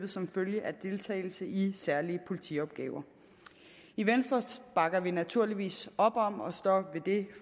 som følge af deltagelse i særlige politiopgaver i venstre bakker vi naturligvis op om og står ved det